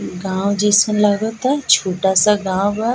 गाँव जैसन लगाता छूटा-सा गाँव बा।